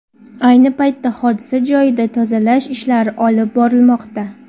Ayni paytda hodisa joyida tozalash ishlari olib borilmoqda.